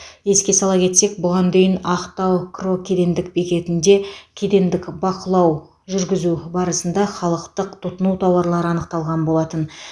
еске сала кетсек бұған дейін ақтау кро кедендік бекетінде кедендік бақылау жүргізу барысында халықтық тұтыну тауарлары анықталған болатын